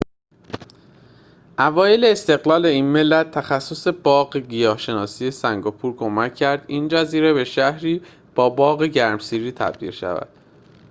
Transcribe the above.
اوایل استقلال این ملت تخصص باغ گیاه‌شناسی سنگاپور کمک کرد این جزیره به شهری با باغ گرمسیری تبدیل شود